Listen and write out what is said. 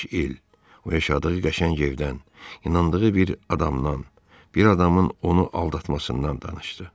O yaşadığı qəşəng evdən, inandığı bir adamdan, bir adamın onu aldatmasından danışdı.